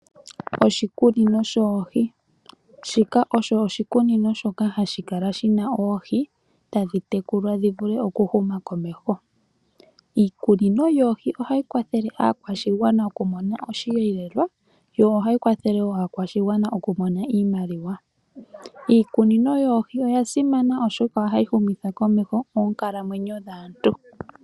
Oshikunino shoohi, shika osho oshikunino shoka hashi kala shina oohi tadhi tekulwa dhi vule oku huma komeho. Iikunino yoohi ohayi kwathele aakwashigwana oku mona oshiyelelwa, yo ohayi kwathele wo aakwashigwana oku mona iimaliwa. Iikunino yoohi oya simana oshoka ohayi humitha komeho onkalamwenyo dhaantu.